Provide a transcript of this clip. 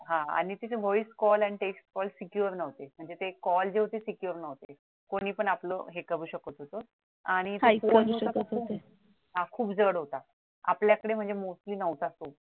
हा आणि तिथे voice call आणि text call secure नव्हते म्हणजे जे कॉल होते ते secure नव्हते म्हणजे कोणी पण आपल हे करू शकत होत आणि हा खूप जड होता म्हणजे आपल्याकडे म्हणजे मोठे नव्हता फोन